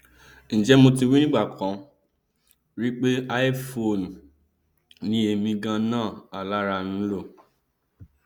njẹ mo ti wí ní ìgbàkan rí pé iphone ni èmi ganan alára ń lò